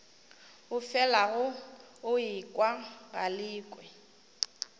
o felago o ekwa galekwe